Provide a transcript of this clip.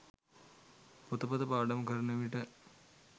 පොතපත පාඩම් කරන විට